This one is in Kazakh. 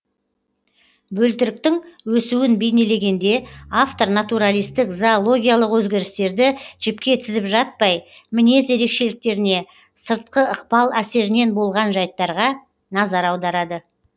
бөлтіріктің өсуін бейнелегенде автор натуралистік зоологиялық өзгерістерді жіпке тізіп жатпай мінез ерекшеліктеріне сыртқы ықпал әсерінен болған жәйттерге назар аударады